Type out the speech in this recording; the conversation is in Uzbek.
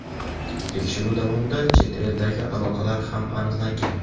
Tekshiruv davomida chet eldagi aloqalar ham aniqlangan.